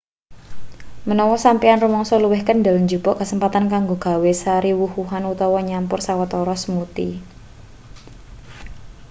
menawa sampeyan rumangsa luwih kendel jupuk kesempatan kanggo gawe sari wuh-wuhan utawa nyampur sawetara smoothie